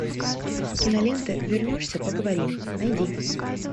кинолента вернешься поговорим найди